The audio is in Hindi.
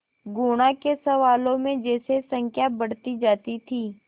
गुणा के सवालों में जैसे संख्या बढ़ती जाती थी